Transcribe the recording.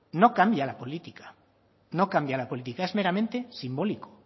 no cambia la política no cambia la política es meramente simbólico